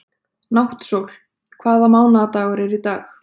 Náttsól, hvaða mánaðardagur er í dag?